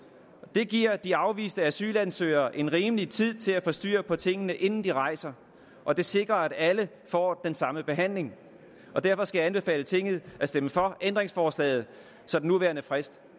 dage giver de afviste asylansøgere en rimelig tid til at få styr på tingene inden de rejser og det sikrer at alle får den samme behandling derfor skal jeg anbefale tinget at stemme for ændringsforslaget så den nuværende frist